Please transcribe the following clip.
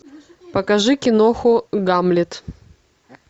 покажи киноху гамлет